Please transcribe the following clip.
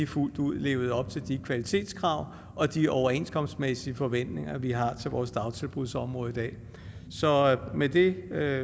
fuldt ud levede op til de kvalitetskrav og de overenskomstmæssige forventninger vi har til vores dagtilbudsområde i dag så med det er